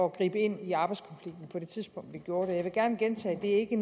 at gribe ind i arbejdskonflikten på det tidspunkt vi gjorde jeg vil gerne gentage at det ikke